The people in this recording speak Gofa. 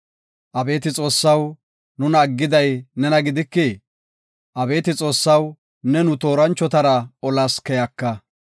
Abeeti Xoossaw, nuna aggiday nena gidikii? Abeeti Xoossaw, ne nu tooranchotara olas keyaka.